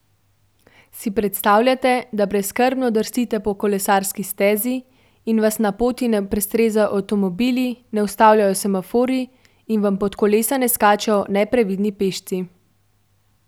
Si predstavljate, da brezskrbno drsite po kolesarski stezi in vas na poti ne prestrezajo avtomobili, ne ustavljajo semaforji in vam pod kolesa ne skačejo neprevidni pešci?